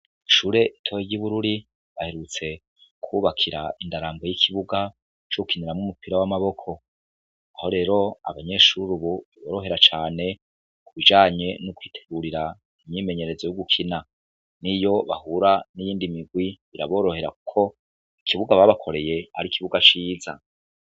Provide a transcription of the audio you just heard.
Ishure ritoyi ry'Ibururi. Baherutse kububakira indararambwe c'ikibuga cogukiniramwo umupira w'amaboko, Aho reo abanyeshure Ubu biborohera cane kubijanye nokwitegurira imyimenyerezo yogukina niyo bahura niyindi mirwi biraborohera kuberako ikibuga babaklreye ARI ikibuga ciza.